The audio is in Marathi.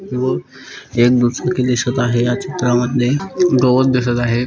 व एक दुचाकी दिसत आहे या चित्रा मध्ये गवत दिसत आहे.